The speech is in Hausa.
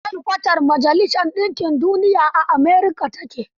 Shelkwatar majalisar ɗinkin Duniya a America ta ke.